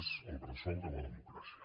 és el bressol de la democràcia